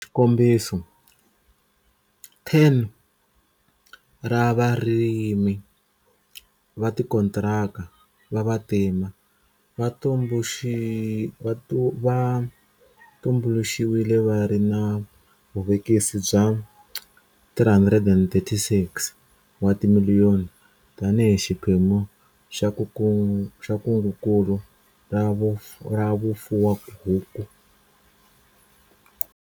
Xikombiso, 10 ra varimi va tikontiraka va vantima va tumbuluxiwile va ri na vuvekisi bya R336 wa timiliyoni tanihi xiphemu xa kungukulu ra vufuwahuku.